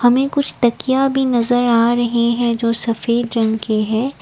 हमें कुछ तकिया भी नज़र आ रहे हैं जो सफ़ेद रंग के है।